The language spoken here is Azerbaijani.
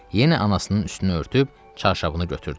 Yenə anasının üstünü örtüb, çarşabını götürdü.